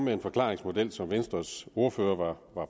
den forklaringsmodel som venstres ordfører var